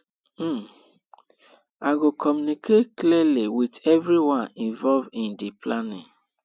um i go communicate clearly with everyone involved in di planning